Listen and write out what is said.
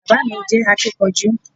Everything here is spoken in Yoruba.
Bàbá mi jẹ́ akínkanjú